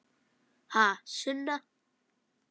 Ha, Sunna?